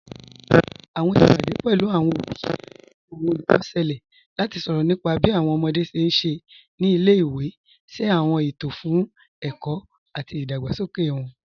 Awọn ìpadẹ̀ pẹ̀lú awọn obì àti awọn olùkọ́ ṣẹ̀lẹ̀ láti sọrọ̀ nípà bí awọn ọmọdé ṣé n ṣé ní ilẹ̀-ìwé, ṣé awọn ètò fún ẹ̀kọ̀ àti ìdágbàsókè wọn.